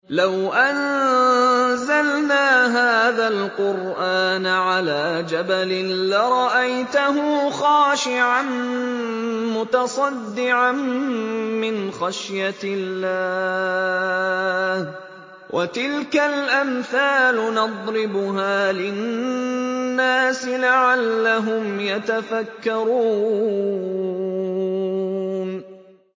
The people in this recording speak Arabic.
لَوْ أَنزَلْنَا هَٰذَا الْقُرْآنَ عَلَىٰ جَبَلٍ لَّرَأَيْتَهُ خَاشِعًا مُّتَصَدِّعًا مِّنْ خَشْيَةِ اللَّهِ ۚ وَتِلْكَ الْأَمْثَالُ نَضْرِبُهَا لِلنَّاسِ لَعَلَّهُمْ يَتَفَكَّرُونَ